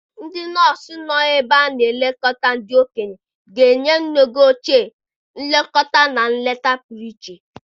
Ndị nọọsụ nọ n'ebe a na-elekọta ndị okenye ga-enye nne gị ochie nlekọta na nleta pụrụ iche.